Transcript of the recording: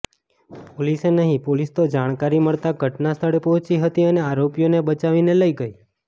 પોલીસે નહીં પોલીસ તો જાણકારી મળતાં ઘટનાસ્થળે પહોંચી હતી અને આરોપીઓને બચાવીને લઇ ગઇ